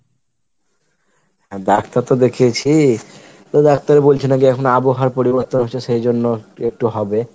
doctor তো দেখিয়েছি তো doctor বলছে নাকি এখন আবহাওয়ার পরিবর্তন হয়েছে সেই জন্য একটু হবে।